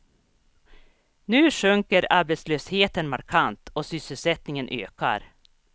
Nu sjunker arbetslösheten markant och sysselsättningen ökar.